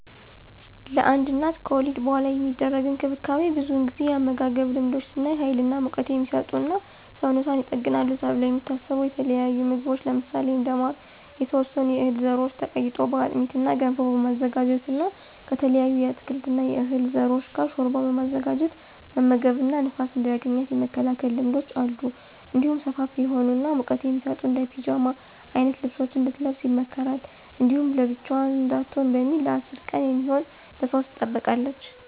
ለአንድ እናት ከወሊድ በኃላ የሚደረግ እንክብካቤ ብዙውን ጊዜ የአመጋገብ ልማዶች ስናይ ሀይል እና ሙቀት" የሚሰጡ እና ሰውነቷን ይጠግናሉ ተብለው የሚታሰቡ የተለያዩ ምግቦች ለምሳሌ እንደ ማር፣ የተወሰኑ የህል ዘሮች ተቀይጦ በአጥሚት እና ገንፎ በማዘጋጀት እና ከተለያዩ የአትክልት እና የዕህል ዘሮች ጋር ሾርባ በማዘጋጀት መመገብ እና ንፋስ እንዳያገኛት የመከላከል ልማዶች አሉ። እንዲሁም ሰፋፊ የሆኑ እና ሙቀት የሚሰጡ እንደ ፒጃማ አይነት ልብሶችን እንድትለብስ ይመከራል። እንዲሁም ብቻዋን እንዳትሆን በሚል ለ10 ቀን የሚሆን በሰው ትጠበቃለች።